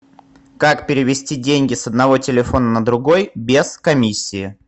как перевести деньги с одного телефона на другой без комиссии